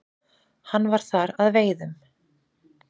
Hann var þar að veiðum.